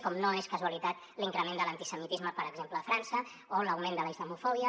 com no és casualitat l’increment de l’antisemitisme per exemple a frança o l’augment de la islamofòbia